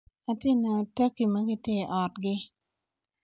Ati neno taki ma giti i otgi.